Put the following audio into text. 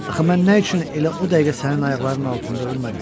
Axı mən nə üçün elə o dəqiqə sənin ayaqlarının altında ölmədim?